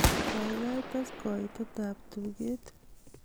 gaigai tes koite ab tuget